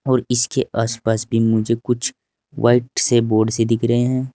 और इसके आसपास भी मुझे कुछ व्हाइट से बोर्ड से दिख रहे हैं।